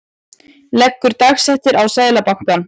Leggur dagsektir á Seðlabankann